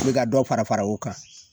O be ka dɔ fara fara o kan